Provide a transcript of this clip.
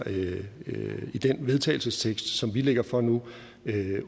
vedtagelsestekst som vi lægger frem nu